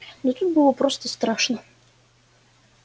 но тут было просто страшно